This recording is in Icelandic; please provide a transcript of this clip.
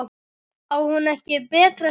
Á hún ekki betra skilið?